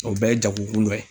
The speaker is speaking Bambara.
O bɛɛ ye jagokun dɔ ye.